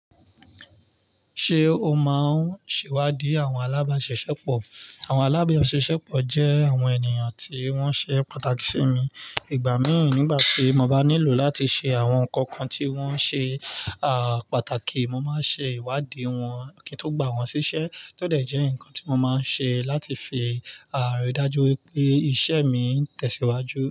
Ṣé o máa ń ṣèwádìí àwọn alábáṣiṣẹ́ pọ̀? Àwọn alábáṣiṣẹ́ pọ̀ jẹ́ àwọn ènìyàn tí wọ́n ṣe pàtàkì sí mi. Ìgbà míì nígbà tí mo bá nílò láti ṣe àwọn nǹkan kan tí wọ́n ṣe à pàtàkì, mo máa ń ṣe ìwádìí wọn kí n tó gbà wọ́n ṣíṣẹ́, tó dẹ̀ jẹ́ ǹkan tí mo máa ń ṣe láti fi àà ri dájú wípé iṣẹ́ mi ń tẹ̀síwájú.